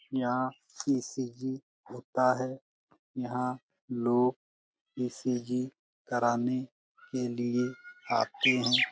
यहाँ ई.सी.जी. होता है। यहाँ लोग ई.सी.जी. कराने के लिए आते हैं।